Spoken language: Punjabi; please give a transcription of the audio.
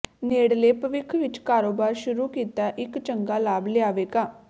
ਨੇੜਲੇ ਭਵਿੱਖ ਵਿੱਚ ਕਾਰੋਬਾਰ ਸ਼ੁਰੂ ਕੀਤਾ ਇੱਕ ਚੰਗਾ ਲਾਭ ਲਿਆਵੇਗਾ